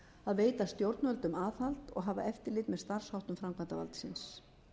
að veita stjórnvöldum aðhald og hafa eftirlit með starfsháttum framkvæmdarvaldsins